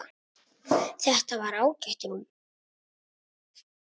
Þetta var ágætt rúm.